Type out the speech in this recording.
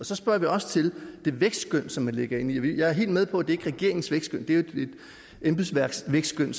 så spørger vi også til det vækstskøn som man lægger ind i det jeg er helt med på det er regeringens vækstskøn det er jo et embedsværks vækstskøn